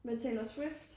Med Taylor Swift